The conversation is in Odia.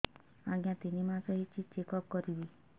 ଆଜ୍ଞା ତିନି ମାସ ହେଇଛି ଚେକ ଅପ କରିବି